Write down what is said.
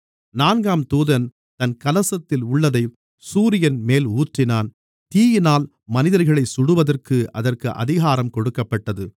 நான்காம் தூதன் தன் கலசத்தில் உள்ளதைச் சூரியன்மேல் ஊற்றினான் தீயினால் மனிதர்களைச் சுடுவதற்கு அதற்கு அதிகாரம் கொடுக்கப்பட்டது